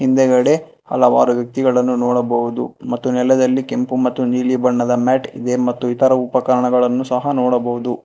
ಹಿಂದಗಡೆ ಹಲವಾರು ವ್ಯಕ್ತಿಗಳನ್ನು ನೋಡಬಹುದು ಮತ್ತು ನೆಲದಲ್ಲಿ ಕೆಂಪು ಮತ್ತು ನೀಲಿ ಬಣ್ಣದ ಮ್ಯಾಟ್ ಇದೆ ಮತ್ತು ಇತರ ಉಪಕರಣಗಳನ್ನು ಸಹ ನೋಡಬಹುದು.